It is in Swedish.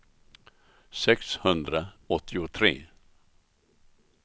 sexhundraåttiotre